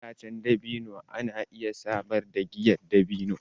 Itacen dabino kuma na iya samar da giyar dabino.